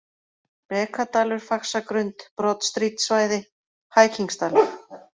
Brekadalur, Faxagrund, Broadstreetsvæði, Hækingsdalur